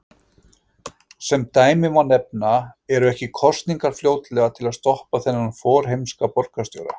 Sem dæmi má nefna: Eru ekki kosningar fljótlega til að stoppa þennan forheimska borgarstjóra?